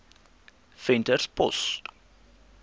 venterspost